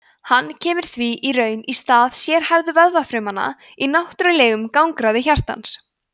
hann kemur því í raun í stað sérhæfðu vöðvafrumanna í náttúrlegum gangráði hjartans